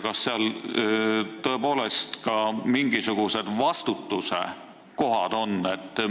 Kas seal on tõepoolest esitatud ka mingisugused vastutuse kohad?